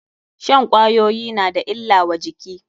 Shan kwayoyi na da illa wa jiki.